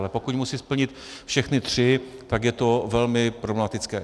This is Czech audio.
Ale pokud musí splnit všechny tři, tak je to velmi problematické.